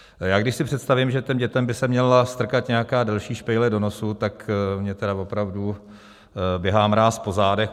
Já když si představím, že těm dětem by se měla strkat nějaká delší špejle do nosu, tak mě tedy opravdu běhá mráz po zádech.